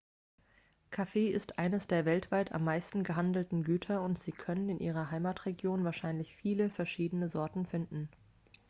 kaffee ist eines der weltweit am meisten gehandelten güter und sie können in ihrer heimatregion wahrscheinlich viele verschiedene sorten finden